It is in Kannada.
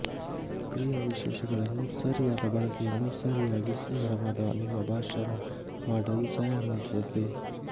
ಕ್ರಿಯಾ ವಿಶೇಷಣಗಳನ್ನು ಸರಿಯಾದ ಬಳಕೆಯನ್ನು ಸರಿಯಾಗಿ ಸುಂದರವಾದ ನಿಮ್ಮ ಭಾಷಣ ಮಾಡಲು ಸಹಾಯ ಮಾಡುತ್ತದೆ